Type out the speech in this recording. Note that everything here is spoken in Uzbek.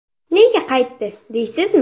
Nega qaytdi deysizmi?